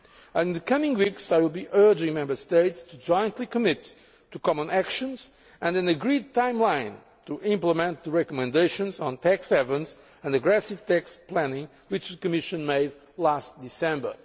In the coming weeks I will be urging the Member States to jointly commit to common actions and an agreed timeline to implement the recommendations on tax havens and aggressive tax planning which the Commission made last December.